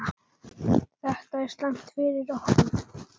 Þetta er slæmt fyrir okkur.